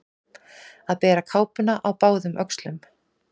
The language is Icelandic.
Að bera kápuna á báðum öxlum